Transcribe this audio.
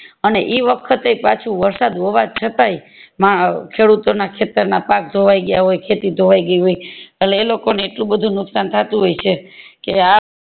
અને ઈ વખતે પાછુ વરસાદ હોવા છતાય શરુ તો ના ખેતર ના પાક ધોવાય ગયા હોય ખેતી ધોવાય ગય હોય અટલે એ લોકો ને એટલું બધું નુકશાન થતું હોય છે કે